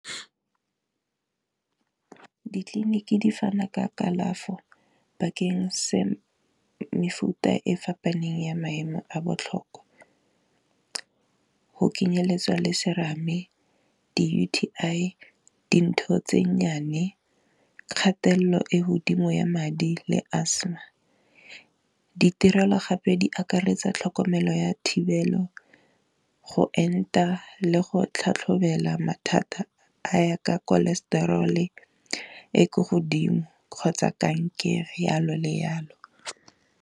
Di clinic di fana ka kalafo bakeng se mefuta e fapaneng ya maemo a botlhokwa, go kenyeletswa le serame di U_T_I dintho tse nnyane, kgatelelo ko godimo ya madi le asthma, ditirelo gape di akaretsa tlhokomelo ya thibelo go enta le go tlhatlhobela mathata a ya ka cholesterol-e e ko godimo kgotsa kankere yalo le yalo.